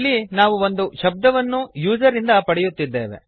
ಇಲ್ಲಿ ನಾವು ಒಂದು ಶಬ್ದವನ್ನು ಯೂಸರ್ ಇಂದ ಪಡೆಯುತ್ತಿದ್ದೇವೆ